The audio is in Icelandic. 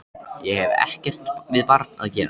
Ég hef ekkert við barn að gera.